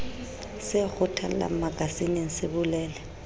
se kgethollang makasineng se bolele